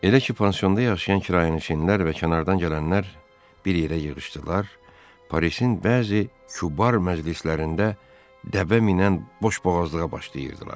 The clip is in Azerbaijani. Elə ki, pansionda yaşayan kirayənişinlər və kənardan gələnlər bir yerə yığışdılar, Parisin bəzi kubar məclislərində dəbə minən boşboğazlığa başlayırdılar.